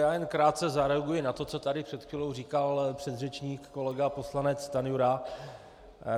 Já jen krátce zareaguji na to, co tady před chvílí říkal předřečník kolega poslanec Stanjura.